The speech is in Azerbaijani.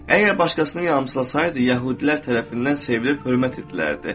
Əgər başqasını yamsılasaydı, yəhudilər tərəfindən sevilir, hörmət edilərdi.